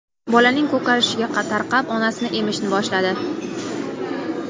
Bolaning ko‘karishi tarqab, onasini emishni boshladi.